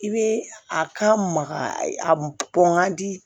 I bɛ a ka maga a bɔn ka di